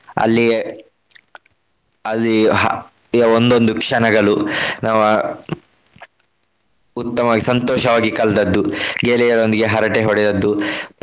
ಅಲ್ಲಿಗೆ ಅಲ್ಲಿಗೆ ಹಾ ಈಗ ಒಂದೊಂದ್ ಕ್ಷಣಗಳು. ನಾವು ಉತ್ತಮವಾಗಿ ಸಂತೋಷವಾಗಿ ಕಲ್ತದ್ದು. ಗೆಳೆಯರೊಂದಿಗೆ ಹರಟೆ ಹೊಡೆದದ್ದು.